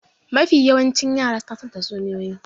Mafi yawancin yara suna son tatsuniyoyi.